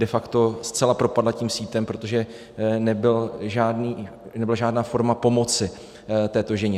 De facto zcela propadla tím sítem, protože nebyla žádná forma pomoci této ženě.